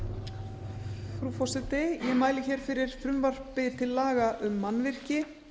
frú forseti ég mæli fyrir frumvarpi til laga um mannvirki